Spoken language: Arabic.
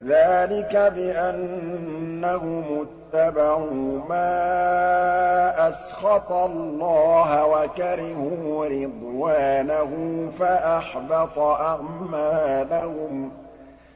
ذَٰلِكَ بِأَنَّهُمُ اتَّبَعُوا مَا أَسْخَطَ اللَّهَ وَكَرِهُوا رِضْوَانَهُ فَأَحْبَطَ أَعْمَالَهُمْ